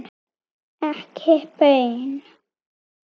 Ekki baun.